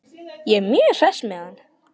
Ég er mjög hress með hann.